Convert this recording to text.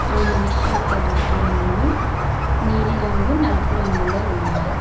ఆ మనిషి యొక్క దుస్తురంగులు నీలిరంగు నలుపు రంగులో ఉన్నాయి.